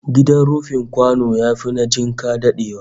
Gidan rufin kwano yafi na jinka dadewa